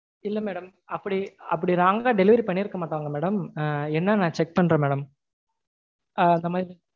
இல்ல madam. அப்படி அப்படி wrong அ delivery பண்ணிருக்க மாட்டாங்க madam. என்னனு நா check பண்றேன் madam.